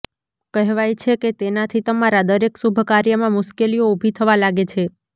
કહેવાય છે કે તેનાથી તમારા દરેક શુભ કાર્યમાં મુશ્કેલીઓ ઉભી થવા લાગે છે